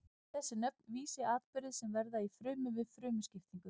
þessi nöfn vísa í atburði sem verða í frumu við frumuskiptingu